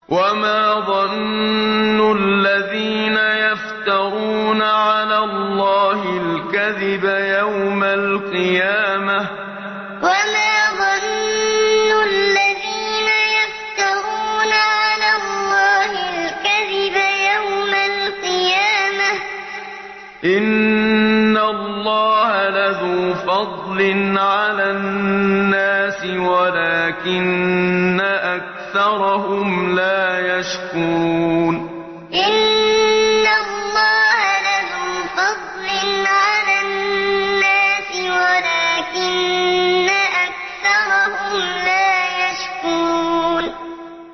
وَمَا ظَنُّ الَّذِينَ يَفْتَرُونَ عَلَى اللَّهِ الْكَذِبَ يَوْمَ الْقِيَامَةِ ۗ إِنَّ اللَّهَ لَذُو فَضْلٍ عَلَى النَّاسِ وَلَٰكِنَّ أَكْثَرَهُمْ لَا يَشْكُرُونَ وَمَا ظَنُّ الَّذِينَ يَفْتَرُونَ عَلَى اللَّهِ الْكَذِبَ يَوْمَ الْقِيَامَةِ ۗ إِنَّ اللَّهَ لَذُو فَضْلٍ عَلَى النَّاسِ وَلَٰكِنَّ أَكْثَرَهُمْ لَا يَشْكُرُونَ